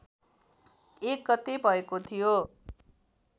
१ गते भएको थियो